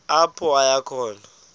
apho aya khona